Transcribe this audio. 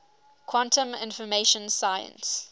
quantum information science